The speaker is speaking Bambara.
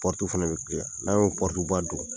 Pɔrutu fana bɛ n'an y'o pɔrutuba don.